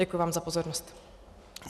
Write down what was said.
Děkuji vám za pozornost.